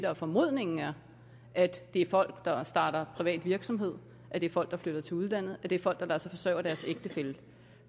er formodningen er at det er folk der starter privat virksomhed at det er folk der flytter til udlandet at det er folk der lader sig forsørge af deres ægtefælle